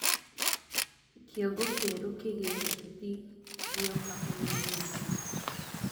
kĩongo kieru kĩĩgĩe uteti gioka umenyĩthĩe